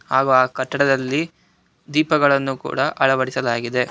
ಹಾಗೂ ಆ ಕಟ್ಟಡದಲ್ಲಿ ದೀಪಗಳನ್ನು ಕೂಡ ಅಳವಡಿಸಲಾಗಿದೆ.